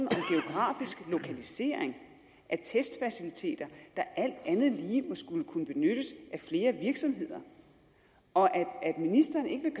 geografisk lokalisering af testfaciliteter der alt andet lige må skulle kunne benyttes af flere virksomheder og at ministeren ikke